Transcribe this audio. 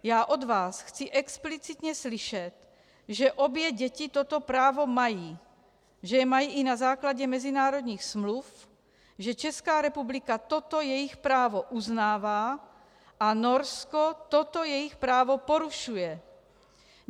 Já od vás chci explicitně slyšet, že obě děti toto právo mají, že je mají i na základě mezinárodních smluv, že Česká republika toto jejich právo uznává a Norsko toto jejich právo porušuje!